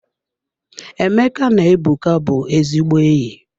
Emeka na Ebuka bụ ezigbo enyi.